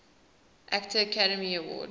actor academy award